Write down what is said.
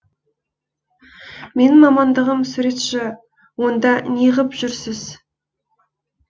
менің мамандығым суретші онда неғып жүрсіз